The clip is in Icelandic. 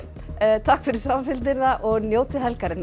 takk fyrir samfylgdina og njótið helgarinnar